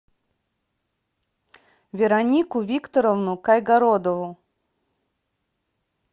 веронику викторовну кайгородову